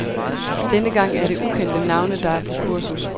Denne gang er det ukendte navne, der er på kursus.